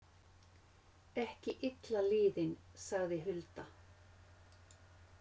Ekki illa liðin, sagði Hulda.